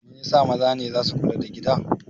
Mai yasa maza ne zasu na kula da gida?